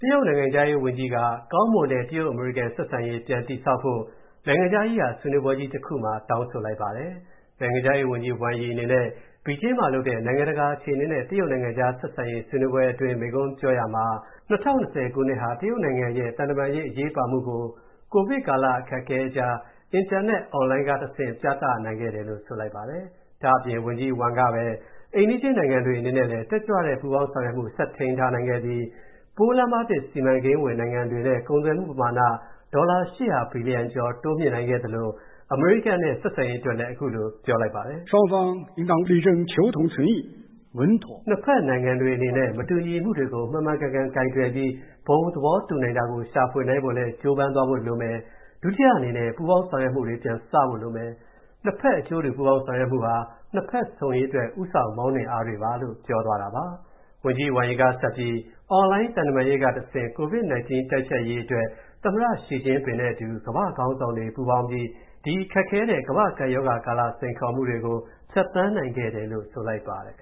တရုတ်နိုင်ငံခြားရေးဝန်ကြီးက ကောင်းမွန်တဲ့ တရုတ်-အမေရိကန်ဆက်ဆံရေး ပြည်တည်ဆောက်ဖို့၊ နိုင်ငံခြားရေးရာဆွေးနွေးပွဲကြီးတစ်ခုမှာ တောင်းဆိုလိုက်ပါတယ်။ နိုင်ငံခြားရေးဝန်ကြီး Wang Yi အနေနဲ့ ဘေဂျင်းမှာလုပ်တဲ့ နိုင်ငံတကာအခြေအနေနဲ့ တရုတ်နိုင်ငံခြားဆက်ဆံရေး ဆွေးနွေးပွဲအတွင်း မိန့်ခွန်းပြောရာမှာ ၂၀၂၀ ခုနှစ်ဟာ တရုတ်နိုင်ငံရဲ့ သံတမန်ရေးအရေးပါမူကို ကိုဗစ်ကာလ အခက်အခဲအကြား အင်တာနက် On-line ကဆင့် ပြသနိုင်ခဲ့တယ်လို့ ဆိုပါတယ်။ ဒါ့အပြင် ဝန်ကြီး Wang ကပဲ အိမ်နီးချင်းနိုင်ငံတွေနဲ့လည်း တက်ကြွတဲ့ပူးပေါင်းဆောင်ရွက်မူဆက်ထိန်းနိုင်ခဲ့ပြီး ပိုးလမ်းမသစ်စီမံကိန်းဝင်နိုင်ငံတွေနဲ့ ကုန်သွယ်မူပမာဏ ဒေါ်လာ ၈၀၀ ဘီလီယံ ကျော် တိုးမြင့်နိုင်ခဲ့သလို၊ အမေရိကန်နဲ့ဆက်ဆံရေးအတွက်လည်း ခုလိုပြောခဲ့ပါတယ် ။ “နှစ်ဖက်အနေနဲ့ မတူညီမူတွေကို မှန်မှန်ကန်ကန်ကိုင်တွယ်ပြီး ဘုံသဘောတူနိုင်တာကိုရှာဖွေနိုင်ဖို့လည်း ကြိုးပမ်းသွားဖို့လိုမယ်။ ဒုတိယအနေနဲ့ ပူးပေါင်းဆောင်ရွက်မူတွေ ပြန်စဖို့လိုမယ်။ နှစ်ဖက်အကျိုးတူပူးပေါင်းဆောင်ရွက်မူာ နှစ်ဖက်ဆုံရေးအတွက် ဦးဆောင်မောင်းနှင်အားတွေပါ” လို့ ပြောသွားတာပါ။ ဝန်ကြီး Wang Yi က ဆက်ပြီး၊ On-line သံတမန်းရေးကတဆင့်၊ ကိုဗစ်-19 တိုက်ဖျက်ရေးအတွက် သမ္မတ Xi Jinping နဲ့အတူ ကမ္ဘာ့ခေါင်းဆောင်တွေပေါင်းပြီး၊ ဒီ ခက်ခဲတဲ့ ကမ္ဘာ့ကပ်ရောဂါကာလ စိန်ခေါ်မူတွေကို ဖြတ်သန်းနိုင်ခဲ့တယ်လို့ ဆိုလိုက်ပါတယ်